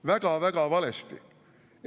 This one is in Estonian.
Väga-väga valesti!